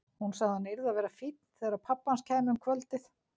Hún sagði að hann yrði að vera fínn þegar pabbi hans kæmi um kvöldið.